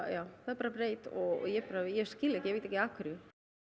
já það er bara breytt og ég ég skil ekki ekki af hverju